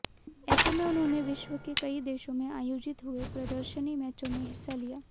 ऐसे में उन्होंने विश्व के कई देशों में आयोजित हुए प्रदर्शनी मैचों में हिस्सा लिया